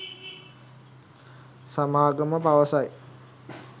සමාගම පවසයි